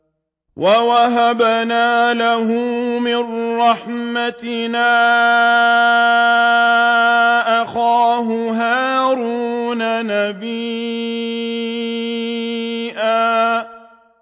وَوَهَبْنَا لَهُ مِن رَّحْمَتِنَا أَخَاهُ هَارُونَ نَبِيًّا